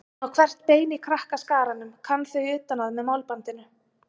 Hún á hvert bein í krakkaskaranum, kann þau utan að með málbandinu.